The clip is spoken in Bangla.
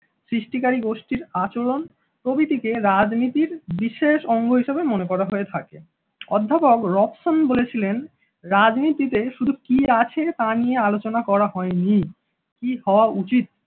সৃষ্টিকারী গোষ্ঠীর আচরণ প্রভৃতিকে রাজনীতির বিশেষ অঙ্গ হিসেবে মনে করা হয়ে থাকে। অধ্যাপক রোকসন বলেছিলেন রাজনীতিতে শুধু কি আছে তা নিয়ে আলোচনা করা হয়নি, কি হওয়া উচিত